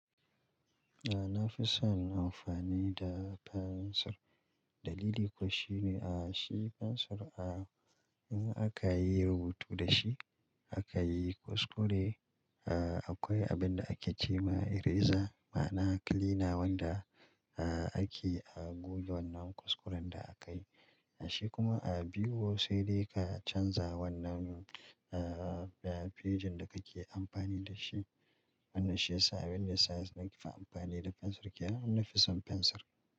A nafi son amfani da fensir. Dalili kuwa shine, a shi fensir a in aka yi rubutu da shi, aka yi kuskure, a akwai abin da ake ce ma eraser ma'ana cleaner wanda a ake a goge wannan kuskuren da aka yi. Shi kuma biro sai dai ka canza wannan fejin da kake amfani da shi. Wannan shiyasa abinda yasa nake amfani da fensir ke yi. Nafi son fensir.